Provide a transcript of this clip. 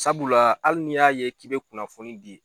Sabula ali ni y'a ye k'i be kunnafoni di